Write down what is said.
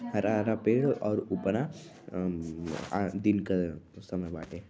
हरा-हरा पेड़ और उपरा उम्अं दिन क समय बाटे।